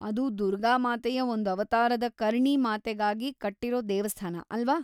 ಅದು ದುರ್ಗಾಮಾತೆಯ ಒಂದ್ ಅವತಾರವಾದ ಕರ್ಣಿ ಮಾತೆಗಾಗಿ ಕಟ್ಟಿರೋ ದೇವಸ್ಥಾನ ಅಲ್ವಾ?